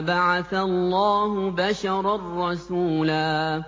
أَبَعَثَ اللَّهُ بَشَرًا رَّسُولًا